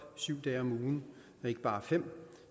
syv dage om ugen og ikke bare fem